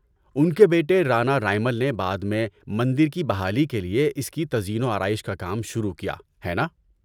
‏ان کے بیٹے رانا رائمل نے بعد میں مندر کی بحالی کے لیے اس کی تزئین و آرائش کا کام شروع کیا، ہے نا؟‏